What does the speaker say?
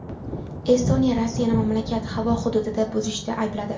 Estoniya Rossiyani mamlakat havo hududini buzishda aybladi.